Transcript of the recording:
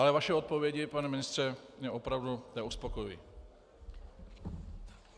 Ale vaše odpovědi, pane ministře, mě opravdu neuspokojují.